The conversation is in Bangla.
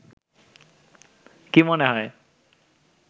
কি মনে হয়